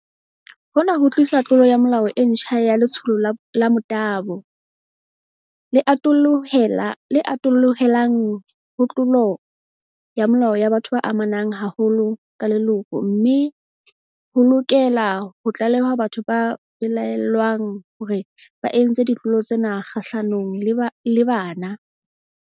Hona ho tlisa tlolo ya molao e ntjha ya letshoho la motabo, le atollohelang ho tlolo ya molao ya batho ba amanang haholo ka leloko, mme ho tlale-hwa lokela ho tlalehwa batho ba belaellwang hore ba entse ditlolo tsena kgahlanong le bana.